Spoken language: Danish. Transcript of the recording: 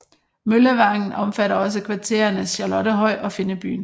Møllevangen omfatter også kvarterene Charlottehøj og Finnebyen